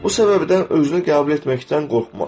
Bu səbəbdən özünü qəbul etməkdən qorxma.